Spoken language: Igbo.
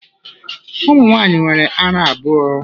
Ụmụ nwaanyị nwere ara abụọ.